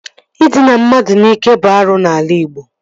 Ịdịna mmadụ n'ike bụ arụ n'ala Ịgbo